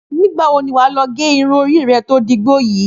Nígbà wo ni wà á lọ gẹ irun orí rẹ tó dígbó yìí?